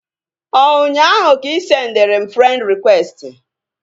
Ọ ụnyaahụ ka ị sendịrị m frend rịkwesti?